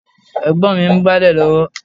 Ẹ̀gbọ́n mi ń gbálẹ̀ lọ́wọ́